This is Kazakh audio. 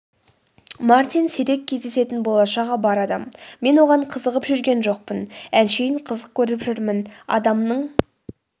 мартин сирек кездесетін болашағы бар адам мен оған қызығып жүрген жоқпын әншейін қызық көріп жүрмін адамның